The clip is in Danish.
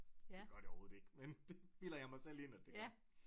Det gør det overhoved ikke men det bilder jeg mig selv ind at det gør